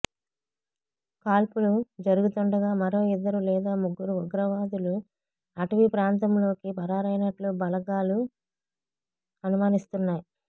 కాల్పులు జరుగుతుండగా మరో ఇద్దరు లేదా ముగ్గురు ఉగ్రవాదులు అటవీ ప్రాంతంలోకి పరారైనట్లు బలగాలు అనుమానిస్తున్నాయి